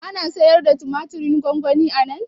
Ana sayarda tumatirin gwangwani anan?